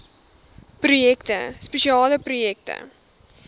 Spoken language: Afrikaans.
projekte spesiale projekte